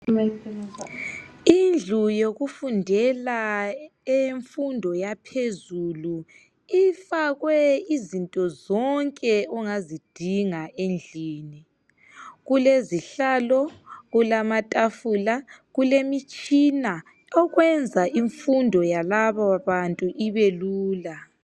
Indlu yokufundela eyemfundo yaphezulu ifakwe izinto zonke ongazidinga endlini kulezihlalo kulamatafula kulemitshina okwenza imfundo yalaba bantu ibelula.